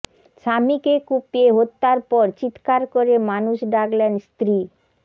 স্বামীকে কুপিয়ে হত্যার পর চিৎকার করে মানুষ ডাকলেন স্ত্রী